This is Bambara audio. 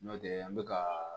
N'o tɛ an bɛ ka